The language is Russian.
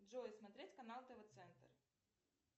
джой смотреть канал тв центр